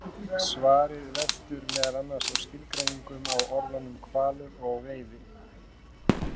Svarið veltur meðal annars á skilgreiningum á orðunum hvalur og veiði.